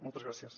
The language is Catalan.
moltes gràcies